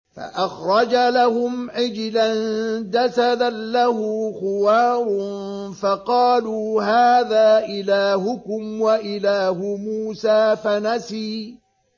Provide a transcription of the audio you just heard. فَأَخْرَجَ لَهُمْ عِجْلًا جَسَدًا لَّهُ خُوَارٌ فَقَالُوا هَٰذَا إِلَٰهُكُمْ وَإِلَٰهُ مُوسَىٰ فَنَسِيَ